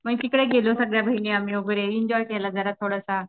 मग तिकडे गेलो आम्ही सगळ्या बहिणी वगैरे तिकडे एन्जॉय केला जरासा.